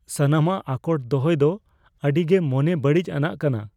ᱥᱟᱱᱟᱢᱟᱜ ᱟᱠᱚᱴ ᱫᱚᱦᱚᱭ ᱫᱚ ᱟᱹᱰᱤ ᱜᱮ ᱢᱚᱱᱮ ᱵᱟᱹᱲᱤᱡ ᱟᱱᱟᱜ ᱠᱟᱱᱟ ᱾